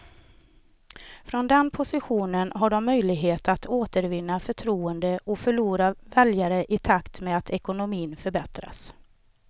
Från den positionen har de möjligheter att återvinna förtroende och förlorade väljare i takt med att ekonomin förbättras.